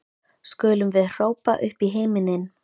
skulum við hrópa upp í himininn.